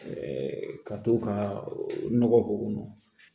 ka to ka nɔgɔ k'o kɔnɔ